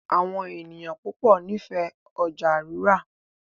Àwọn ènìyàn púpọ n'ifẹ ọjà rírà.